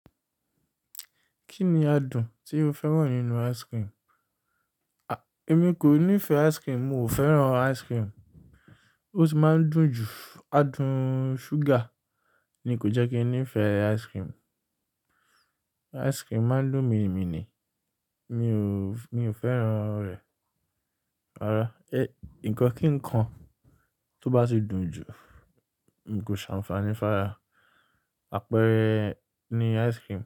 Kí ni adùn tí o fẹ́ràn nínú ice cream? À, èmi kò nífẹ̀ẹ́ ice cream, mo ò fẹ́ràn ice cream. Ó ti máa ń dùn jù, adùn ṣúgà ni kò jẹ́ kí n nífẹ̀ẹ́ ice cream. Ice cream máa ń dùn mi ni, mi ò, mi ò fẹ́ràn rẹ̀. Rárá, ẹ, ǹkan kíkan tó bá ti dùn jù, n kò ṣe àǹfààní fún ara, àpẹẹrẹ ni ice cream.